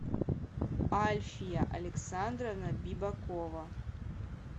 альфия александровна бибакова